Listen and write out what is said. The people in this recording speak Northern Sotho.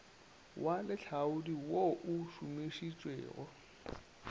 wa lehlaodi wo o šomišitšwego